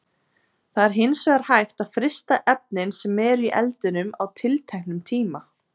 Það er hins vegar hægt að frysta efnin sem eru í eldinum á tilteknum tíma.